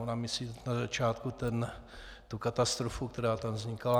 Ona myslí na začátku tu katastrofu, která tam vznikala.